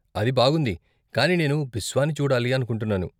అది బాగుంది, కాని నేను బిస్వాని చూడాలి అనుకుంటున్నాను.